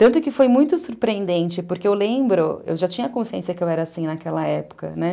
Tanto que foi muito surpreendente, porque eu lembro, eu já tinha consciência que eu era assim naquela época, né?